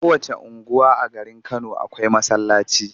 Kowacce unguwa a garin Kano akwai masallaci.